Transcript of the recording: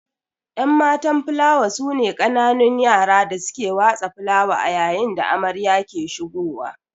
Enmatan filawa sune kananun yara da suke watsa filawa ayayin da amarya ke ahigowa